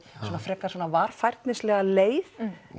svona frekar varfærnislega leið